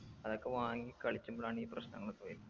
അതൊക്കെ വാങ്ങി കളിച്ചുമ്പോളാണീ പ്രശ്നങ്ങളൊക്കെ വരുന്നത്